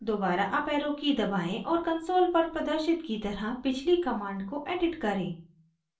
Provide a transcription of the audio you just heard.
दोबारा up arrow की दबाएं और console पर प्रदर्शित की तरह पिछली command को edit करें